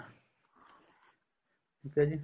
ਠੀਕ ਆ ਜੀ